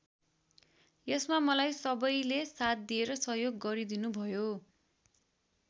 यसमा मलाई सबैले साथ दिएर सहयोग गरिदिनुभयो।